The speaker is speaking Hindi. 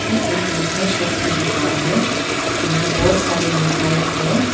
ये एक मिठाई शॉप की दुकान है यहां बहोत सारे मिठाई है।